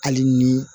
Hali ni